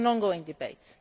It is an ongoing debate.